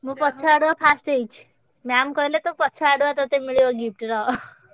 ମୁଁ ପଛଆଡୁଆ first ହେଇଛି ma'am କହିଲେ ତୋ ପଛ ଆଡୁଆ ଟଟେ ମିଳିବ gift ରହ।